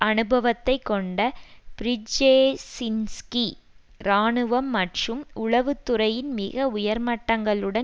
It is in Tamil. அனுபவத்தை கொண்ட பிரிஜேஜின்ஸ்கி இராணுவம் மற்றும் உளவு துறையின் மிக உயர்மட்டங்களுடன்